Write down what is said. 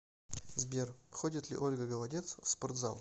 сбер ходит ли ольга голодец в спортзал